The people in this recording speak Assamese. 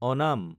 অনাম